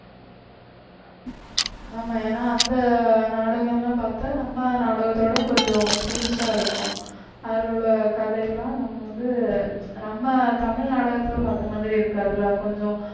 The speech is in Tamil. ஆமா ஏன்னா அந்த நாடகம் எல்லாம் பார்த்தா நம்ம நாடகத்தோட கொஞ்சம் புதுசா இருக்கும் அதுல உள்ள கதையெல்லாம் நம்ம வந்து நம்ம நம்ம தமிழ் நாடகத்துல பார்த்த மாதிரி இருக்கு அதுல கொஞ்சம்